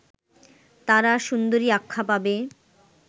তারা সুন্দরী আখ্যা পাবে